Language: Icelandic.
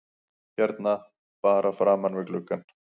Hérna bara framan við gluggann?